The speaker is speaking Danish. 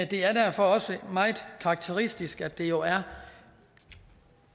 det er derfor også meget karakteristisk at det jo er